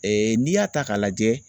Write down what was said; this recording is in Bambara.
Ee n'i y'a ta k'a lajɛ